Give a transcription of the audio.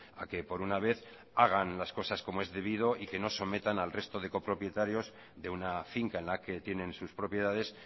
a que por una vez hagan las cosas como es debido y que no sometan al resto de copropietarios de una finca en la que tienen sus propiedades